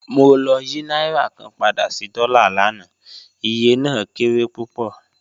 Mo lọ̀ yí nàírà kàn pádà sí dọ́là láńà, ìyẹ̀ náà kéré púpọ́